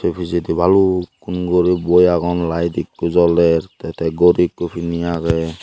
pijedi balukkun guri boi agon layet ekko joler te te gori ekko pini agey.